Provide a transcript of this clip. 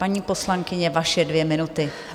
Paní poslankyně, vaše dvě minuty.